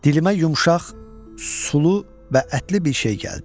Dilimə yumşaq, sulu və ətli bir şey gəldi.